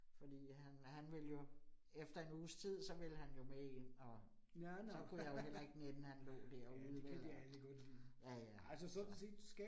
Fordi han han ville jo, efter en uges tid, så ville han jo med ind og, så kunne jeg jo heller ikke nænne, han lå derude vel og ja ja så